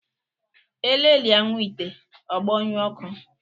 Elelia nwa ite, ọ gbọṅyue ọkụ